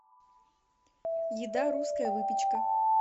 еда русская выпечка